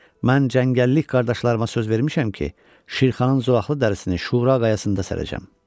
Mən cəngəllik qardaşlarıma söz vermişəm ki, Şirxanın zolaqlı dərisini Şura qayasında sərəcəm.